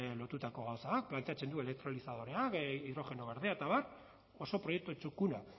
lotutako gauzak planteatzen du elektrolizadorea hidrogeno berdea eta abar oso proiektu txukuna